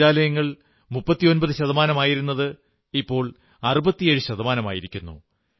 ശൌചാലയങ്ങൾ 39 ശതമാനമായിരുന്നത് ഇപ്പോൾ 67 ശതമാനമായിരിക്കുന്നു